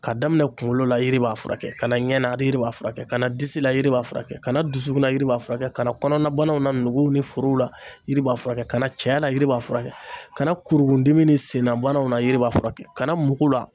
Ka daminɛ kunkolo la yiri b'a furakɛ kana ɲɛnana a de yiri b'a furakɛ kana disi la yiri b'a furakɛ kana dusukun na yiri b'a furakɛ kana kɔnɔna banaw na nuguw ni forow la yiri b'a furakɛ kana cɛya la yiri b'a furakɛ kana kurukuruni ni senna banaw la yiri b'a furakɛ kana mugu la.